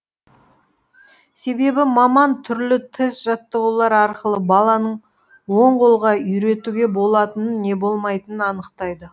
себебі маман түрлі тест жаттығулар арқылы баланың оң қолға үйретуге болатынын не болмайтынын анықтайды